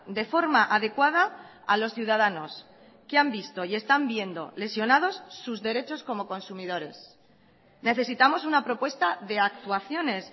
de forma adecuada a los ciudadanos que han visto y están viendo lesionados sus derechos como consumidores necesitamos una propuesta de actuaciones